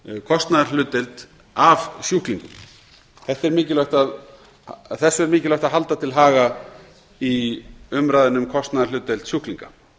kostnaðarhlutdeild af sjúklingum þessu er mikilvægt að halda til haga í umræðunni um kostnaðarhlutdeild sjúklinga